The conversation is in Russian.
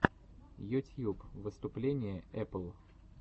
ютьюб выступление эпл